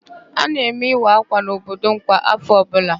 A na-eme ịwa ákwà n'obodo m kwa áfọ̀ ọbụla.